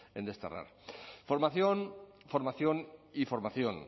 en desterrar formación formación y formación